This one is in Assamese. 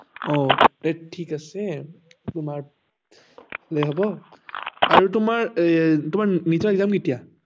অ সেইতো ঠিকেই আছে তোমাৰ ভালেই হব আৰু তোমাৰ NEET ৰ exam কেতিয়া